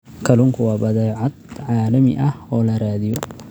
Kalluunku waa badeecad caalami ah oo la raadiyo.